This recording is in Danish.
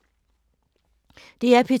DR P2